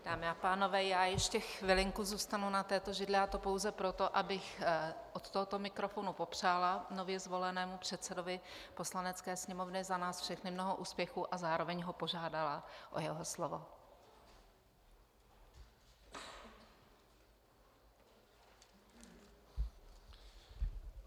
Dámy a pánové, já ještě chvilinku zůstanu na této židli, a to pouze proto, abych od tohoto mikrofonu popřála nově zvolenému předsedovi Poslanecké sněmovny za nás všechny mnoho úspěchů a zároveň ho požádala o jeho slovo.